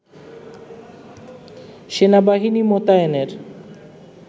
সেনাবাহিনী মোতায়েনের